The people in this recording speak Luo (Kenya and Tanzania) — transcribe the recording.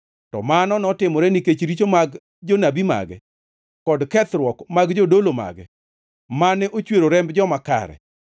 To mano notimore nikech richo mag jonabi mage, kod kethruok mag jodolo mage mane ochwero remb joma kare.